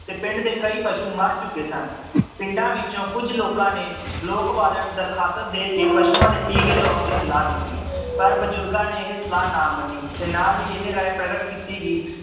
ਤੇ ਪਿੰਡ ਦੇ ਕਈ ਪਸੂ ਮਰ ਚੁੱਕੇ ਸਨ ਪਿੰਡਾਂ ਵਿੱਚੋਂ ਕੁੱਝ ਲੋਕਾਂ ਨੇ ਲੋਕ ਵਾਲਿਆਂ ਨੂੰ ਦਰਖਾਸਤ ਦੇ ਕੇ ਪਸੂਆਂ ਦੇ ਟੀਕੇ ਲਵਾਉਣ ਦੀ ਸਲਾਹ ਦਿੱਤੀ ਪਰ ਬਜੁਰਗਾਂ ਨੇ ਇਹ ਸਲਾਹ ਨਾ ਮੰਨੀ ਤੇ ਨਾਲ ਹੀ ਇਹ ਰਾਏ ਪ੍ਰਗਟ ਕੀਤੀ ਕਿ